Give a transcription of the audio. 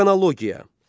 Xronologiya.